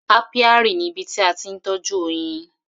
Apiary ni ibi tí a ti ń tọ́jú oyin.